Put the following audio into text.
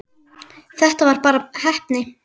Þetta var bara heppni.